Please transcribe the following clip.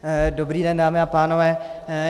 Dobrý den, dámy a pánové.